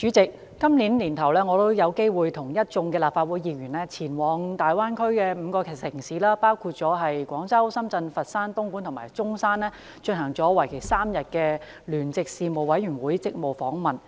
代理主席，今年年初，我有機會與一眾立法會議員前往粵港澳大灣區的5個城市，包括廣州、深圳、佛山，東莞及中山，進行為期3天的聯席事務委員會職務訪問。